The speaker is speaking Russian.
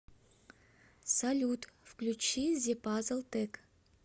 салют включи зе пазл тек